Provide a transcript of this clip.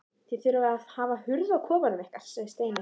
Þið þurfið að hafa hurð á kofanum ykkar segir Steini.